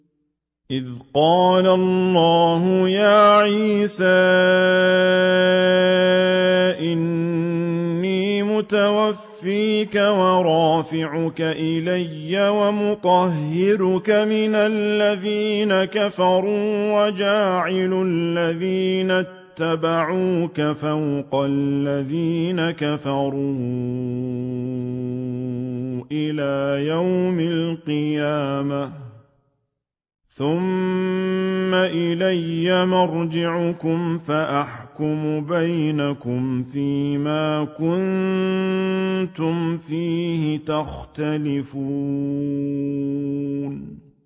إِذْ قَالَ اللَّهُ يَا عِيسَىٰ إِنِّي مُتَوَفِّيكَ وَرَافِعُكَ إِلَيَّ وَمُطَهِّرُكَ مِنَ الَّذِينَ كَفَرُوا وَجَاعِلُ الَّذِينَ اتَّبَعُوكَ فَوْقَ الَّذِينَ كَفَرُوا إِلَىٰ يَوْمِ الْقِيَامَةِ ۖ ثُمَّ إِلَيَّ مَرْجِعُكُمْ فَأَحْكُمُ بَيْنَكُمْ فِيمَا كُنتُمْ فِيهِ تَخْتَلِفُونَ